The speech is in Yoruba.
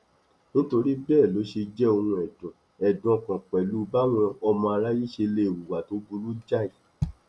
nítorí bẹẹ ló ṣe jẹ ohun ẹdùn ẹdùn ọkàn pẹlú báwọn ọmọ aráyé ṣe lè hùwà tó burú jáì